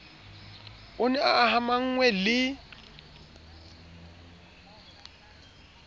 o ne a amahanngwe le